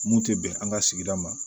Mun tɛ bɛn an ka sigida ma